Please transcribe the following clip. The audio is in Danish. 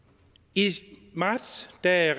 i marts da